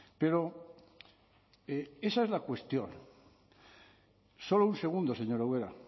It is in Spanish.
pero esa es la cuestión solo un segundo señora ubera